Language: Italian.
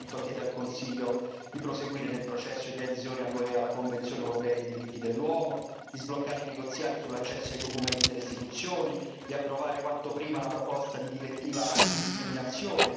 Il Parlamento chiede al Consiglio di proseguire nel processo di adesione dell'UE alla Convenzione europea dei diritti dell'uomo, di sbloccare i negoziati sull'accesso ai documenti delle istituzioni e di approvare quanto prima la proposta di direttiva antidiscriminazione.